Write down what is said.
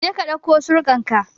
Je ka ɗauko surkan ka!